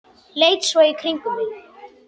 Leit svo í kringum mig.